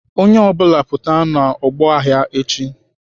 Onye ọ bụla pụta n'ọgbọ agha echi!